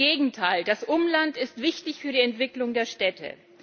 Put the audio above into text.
Im Gegenteil Das Umland ist wichtig für die Entwicklung der Städte.